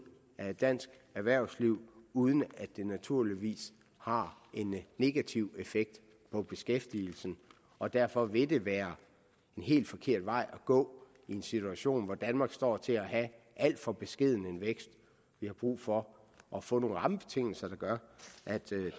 af dansk erhvervsliv uden at det naturligvis har en negativ effekt på beskæftigelsen og derfor vil det være en helt forkert vej at gå i en situation hvor danmark står til at have alt for beskeden en vækst vi har brug for at få nogle rammebetingelser der gør